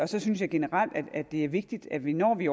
så synes jeg generelt det er vigtigt at vi når vi